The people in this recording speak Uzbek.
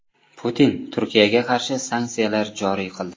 Putin Turkiyaga qarshi sanksiyalar joriy qildi.